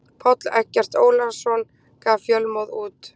Páll Eggert Ólason gaf Fjölmóð út.